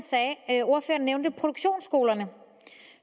nævnte produktionsskolerne